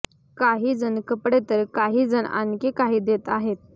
काही जण कपडे तर काही जण आणखी काही देत आहेत